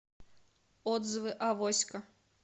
отзывы авоська